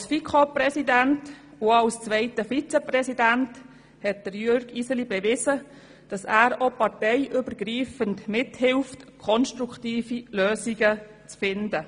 Als FiKo-Präsident und auch als zweiter Vizepräsident, hat Jürg Iseli bewiesen, dass er auch parteiübergreifend mithilft, konstruktive Lösungen zu finden.